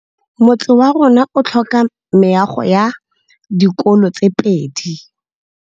Motse warona o tlhoka meago ya dikolô tse pedi.